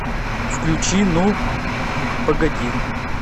включи ну погоди